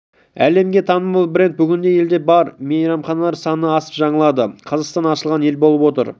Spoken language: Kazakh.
әлемге танымал бренд бүгінде елде бар және мейрамханалар саны асып жығылады қазақстан ашылған ел болып отыр